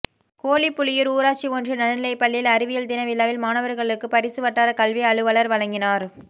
கோழிப்புலியூர் ஊராட்சி ஒன்றிய நடுநிலைப்பள்ளியில் அறிவியல் தின விழாவில் மாணவர்களுக்கு பரிசு வட்டார கல்வி அலுவலர் வழங்கினார்